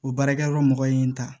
O baarakɛyɔrɔ mɔgɔ ye n ta